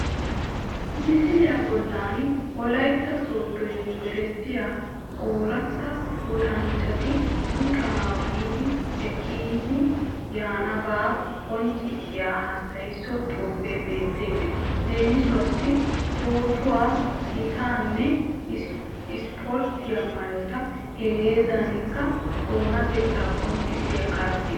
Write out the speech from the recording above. Misiliya bollan wolaytta sooddo yumbberesttee ooratta luxanchchati luxanawu yiiddi ekkidi yaanabaa qonccssiya hassaysso xuufee beettees Leemisuwassi pootuwa, hiittaanne ispporttiya maayota, hegaadankka oonatettaa qonccissiya karddiya